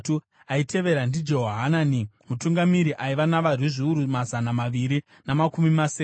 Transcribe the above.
aitevera ndiJehohanani mutungamiri aiva navarwi zviuru mazana maviri namakumi masere;